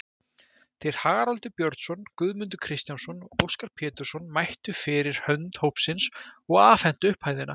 Þeir Haraldur Björnsson, Guðmundur Kristjánsson og Óskar Pétursson mættu fyrir hönd hópsins og afhentu upphæðina.